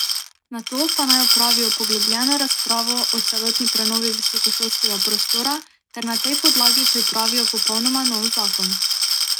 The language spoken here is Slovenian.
Nato pa naj opravijo poglobljeno razpravo o celotni prenovi visokošolskega prostora ter na tej podlagi pripravijo popolnoma nov zakon.